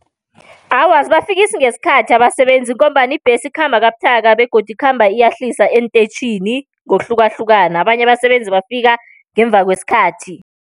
Awa, azibafikisi ngesikhathi abasebenzi, ngombana ibhesi ikhamba kabuthaka, begodu ikhamba iyahlisa eenteyitjhini ngokuhlukahlukana. Abanye abasebenzi bafika ngemva kwesikhathi.